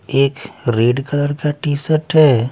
एक red colour का T-shirt हैं।